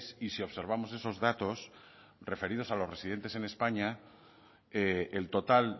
y si observamos esos datos referidos a los residentes en españa el total